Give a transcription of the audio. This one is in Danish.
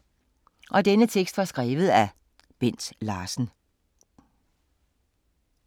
Af Bent Larsen